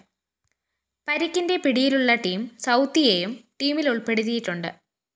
പരിക്കിന്റെ പിടിയിലുള്ള ടിം സൗത്തിയെയും ടീമില്‍ ഉള്‍പ്പെടുത്തിയിട്ടുണ്ട്